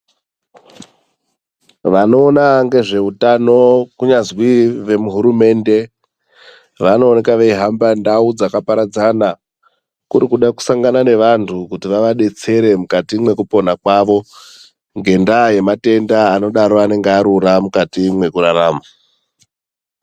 Vanoona ngezveutano kunyazwi vemuhumende vanenge veihamba ndau dzakaparadzana kuri kuda kusangana nevantu kuti vavabetsere mukati mwekupona kwavo ngendaa yematenda enenge arura mukati mwekurarama.